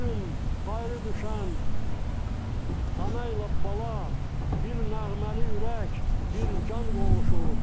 Bu gün ayrı düşən ana ilə bala bir nəğməli ürək, bir can qovuşur.